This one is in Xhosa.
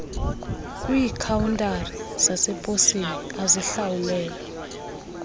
kwiikhawuntari zaseposini azihlawulelwa